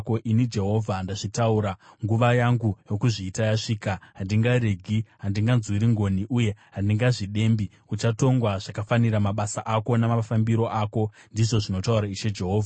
“ ‘Ini Jehovha ndakazvitaura. Nguva yangu yokuzviita yasvika. Handingaregi; handinganzwiri ngoni, uye handingazvidembi. Uchatongwa zvakafanira mabasa ako namafambiro ako, ndizvo zvinotaura Ishe Jehovha.’ ”